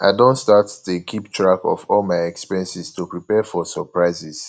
i don start dey keep track of all my expenses to prepare for surprises